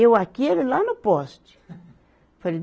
Eu aqui, ele lá no poste. foi